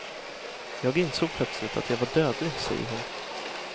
Jag insåg plötsligt att jag var dödlig, säger hon.